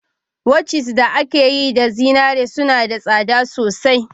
Watches da aka yi da zinariya suna da tsada sosai